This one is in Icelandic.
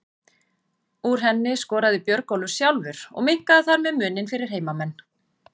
Úr henni skoraði Björgólfur sjálfur og minnkaði þar með muninn fyrir heimamenn.